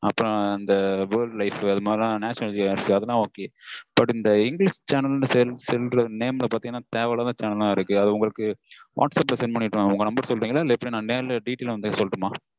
அப்பறம் இந்த world life அதுமாதிரிலாம் இந்த natural geography அதுலாம் ok but. இந்த english channel ங்கற name ல பாத்தீங்கனா தேவையில்லாத channel லாம் இருக்கு. அது உங்களுக்கு whatsapp ல send பண்ணிரட்டுமா உங்க number சொல்றீங்களா? இல்ல நா நேர்ல detail லா வந்தே சொல்லட்டுமா?